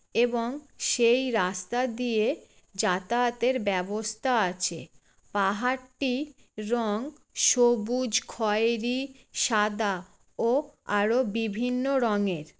এবং সেই রাস্তা দিয়ে যাতায়াতের ব্যবস্থা আছে। পাহাড়টি রং সবুজ খয়েরি সাদা ও আরো বিভিন্ন রঙের।